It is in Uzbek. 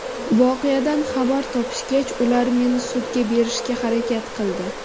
Voqeadan xabar topishgach, ular meni sudga berishga harakat qildi.